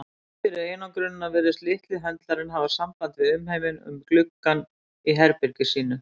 Þrátt fyrir einangrunina virtist litli höndlarinn hafa samband við umheiminn um gluggann á herbergi sínu.